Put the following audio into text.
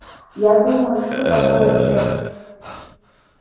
я думаю что такое тег